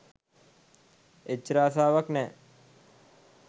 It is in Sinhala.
එච්චර ආසාවක් නෑ.